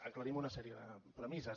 aclarim una sèrie de premisses